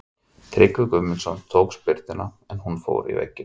Tryggvi Guðmundsson tók spyrnuna en hún fór í vegginn.